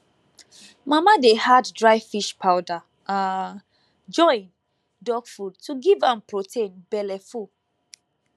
mama dey add dry fish powder um join dog food to give am protein belle full